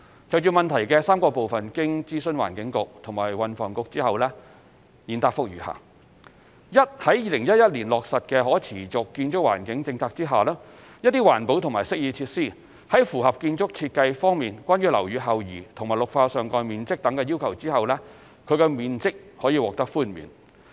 就質詢的3個部分，經諮詢環境局及運輸及房屋局後，現答覆如下：一在2011年落實的可持續建築環境的政策下，一些環保及適意設施，在符合建築設計方面關於樓宇後移和綠化上蓋面積等的要求後，其面積可獲寬免。